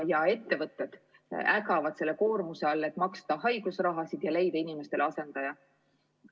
Ja ettevõtted ägavad selle koormuse all, et maksta haigusraha ja leida inimestele asendaja.